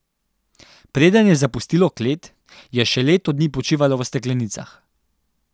Preden je zapustilo klet, je še leto dni počivalo v steklenicah.